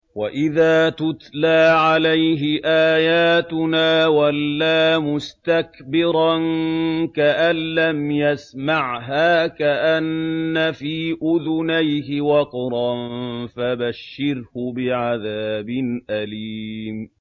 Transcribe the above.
وَإِذَا تُتْلَىٰ عَلَيْهِ آيَاتُنَا وَلَّىٰ مُسْتَكْبِرًا كَأَن لَّمْ يَسْمَعْهَا كَأَنَّ فِي أُذُنَيْهِ وَقْرًا ۖ فَبَشِّرْهُ بِعَذَابٍ أَلِيمٍ